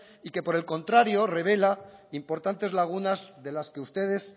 y que por el contrario revela importantes lagunas de las que ustedes